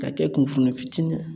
Ka kɛ kunfinna fitina